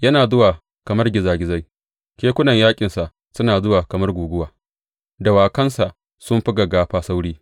Yana zuwa kamar gizagizai, kekunan yaƙinsa suna zuwa kamar guguwa, dawakansa sun fi gaggafa sauri.